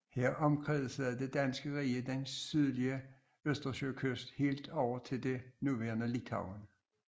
Her omkredsede Det Danske Rige den sydlige østersøkyst helt over til det nuværende Litauen